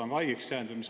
On ta haigeks jäänud?